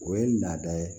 O ye laada ye